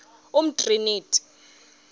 umtriniti